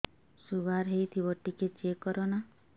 sugar ହେଇଥିବ ଟିକେ check କର ନା